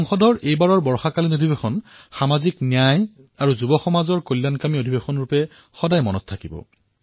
সংসদৰ এই বাৰিষাৰ সত্ৰ সামাজিক ন্যায় আৰু তৰুণ প্ৰজন্মৰ কল্যাণৰ সত্ৰৰ ৰূপত সদায়েই স্মৰণ কৰা হব